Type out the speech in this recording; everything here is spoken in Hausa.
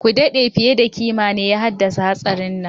Kudade fiye da kima ne ya haddasa hatsarin.